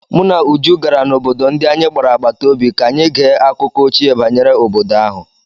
Mụ na Uju gara n'obodo ndi anyị gbara agbata obi ka anyị gee akụkọ ochie banyere obodo ahụ.